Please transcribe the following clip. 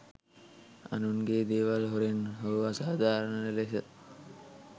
අනුන්ගේ දේවල් හොරෙන් හෝ අසාධාරණ ලෙස